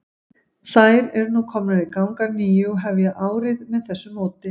Þær eru nú komnar í gang að nýju og hefja árið með þessu móti.